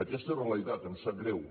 aquesta és la realitat em sap greu